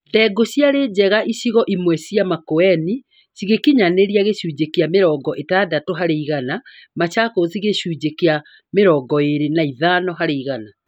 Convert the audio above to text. Ndengu ciarĩ njega icigo imwe cia Makueni cigĩkinyanĩria gĩcunjĩ kĩa mĩrongo ĩtandatũ harĩ igana, Machakos gĩcunjĩ kĩa mĩrongo ĩĩri na ithano harĩ igana